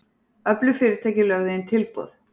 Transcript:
Öflug fyrirtæki lögðu inn tilboð